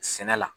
Sɛnɛ la